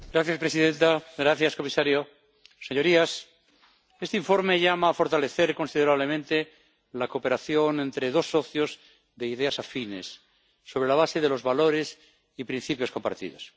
Señora presidenta, señor comisario, señorías, este informe llama a fortalecer considerablemente la cooperación entre dos socios de ideas afines, sobre la base de los valores y principios compartidos.